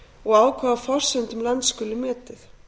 og á hvaða forsendum land skuli metið